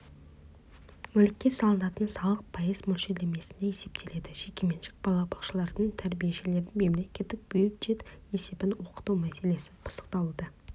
мүлікке салынатын салық пайыз мөлшерлемесінде есептеледі жекеменшік балабақшалардың тәрбиешілерін мемлекеттік бюджет есебінен оқыту мәселесі пысықталуда